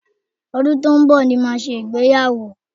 Ọdún tó ń bọ̀ ni màá ṣègbéyàwó